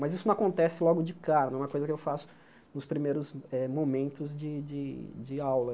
Mas isso não acontece logo de cara, não é uma coisa que eu faço nos primeiros eh momentos de de de de aula.